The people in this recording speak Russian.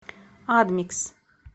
адмикс